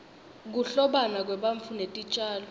kuhlobana kwebantfu netitjalo